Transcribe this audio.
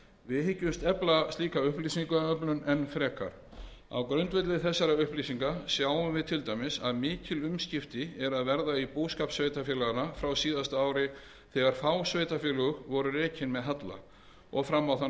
við hyggjumst efla slíka upplýsingaöflun enn frekar á grundvelli þessara upplýsinga sjáum við til dæmis að mikil umskipti eru að verða á búskap sveitarfélaganna frá síðasta ári þegar fá sveitarfélög voru rekin með halla og fram á það